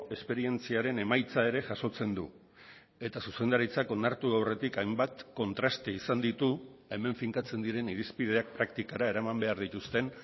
esperientziaren emaitza ere jasotzen du eta zuzendaritzak onartu aurretik hainbat kontraste izan ditu hemen finkatzen diren irizpideak praktikara eraman behar dituzten